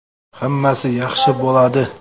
Hammasi yaxshi bo‘ladi.